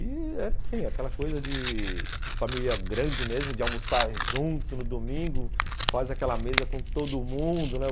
E era assim, aquela coisa de família grande mesmo, de almoçar junto no domingo, faz aquela mesa com todo mundo, né?